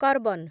carbon